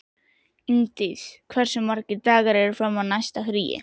Ingdís, hversu margir dagar fram að næsta fríi?